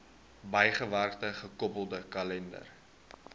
bygewerkte gekoppelde kalender